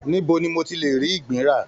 Níbo ni mo tí le rí ìgbín ra?